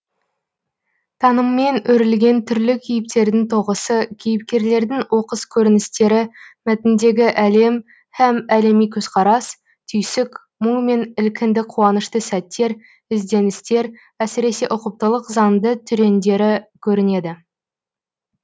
таныммен өрілген түрлі кейіптердің тоғысы кейіпкерлердің оқыс көріністері мәтіндегі әлем һәм әлеми көзқарас түйсік мұң мен ілкінді қуанышты сәттер ізденістер әсіре ұқыптылық заңды түрендері көрінеді